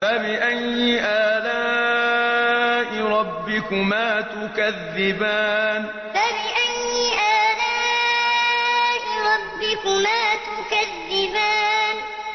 فَبِأَيِّ آلَاءِ رَبِّكُمَا تُكَذِّبَانِ فَبِأَيِّ آلَاءِ رَبِّكُمَا تُكَذِّبَانِ